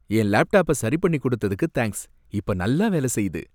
என் லேப்டாப்ப சரி பண்ணி கொடுத்ததுக்கு தேங்க்ஸ். இப்ப நல்லா வேல செய்யுது.